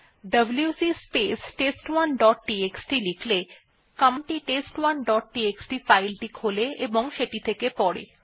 WC space test one dot TXT লিখলে command টি test1ডট টিএক্সটি ফাইল টি খোলে এবং সেটি থেকে পড়ে